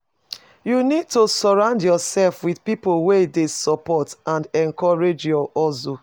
you need to surround yourself with people wey dey support and encourage your hustle.